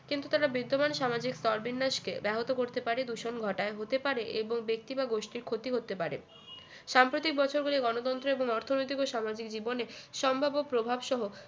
কিন্তু তারা বিদ্যমান সামাজিক স্তরবিন্যাস কে ব্যাহত করতে পারে দূষণ ঘটায় হতে পারে এবং ব্যক্তি বা গোষ্ঠীর ক্ষতি করতে পারে সাম্প্রতিক বছরগুলোয় গণতন্ত্র এবং অর্থনৈতিক ও সামাজিক জীবনে সম্ভাব্য প্রভাব সহ